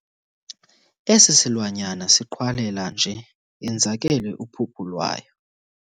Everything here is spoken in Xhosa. Esi silwanyana siqhwalela nje yenzakele uphuphu lwayo.